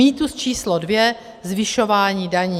Mýtus číslo dvě - zvyšování daní.